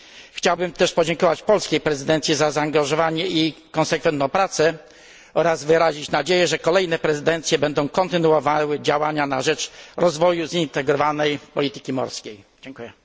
Chciałbym też podziękować polskiej prezydencji za zaangażowanie i konsekwentną pracę oraz wyrazić nadzieję, że kolejne prezydencje będą kontynuowały działania na rzecz rozwoju zintegrowanej polityki morskiej. Dziękuję.